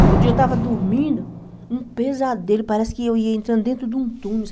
Outro dia eu estava dormindo, um pesadelo, parece que eu ia entrando dentro de um túnel,